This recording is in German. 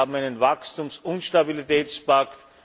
Wir haben einen Wachstums und Stabilitätspakt.